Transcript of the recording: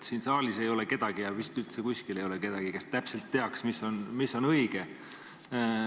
Siin saalis ei ole kedagi ja ega vist üldse kusagil ei ole kedagi, kes täpselt teaks, mis on õige.